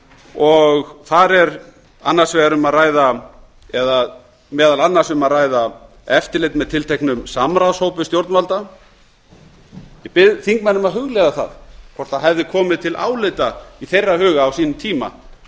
og þar er annars vegar um að ræða eða meðal annars um að ræða eftirlit með tilteknu samráðshópi stjórnvalda ég bið þingmenn um að hugleiða hvort það hefði komið til álita í þeirra huga á sínum tíma